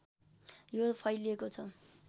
यो फैलिएको छ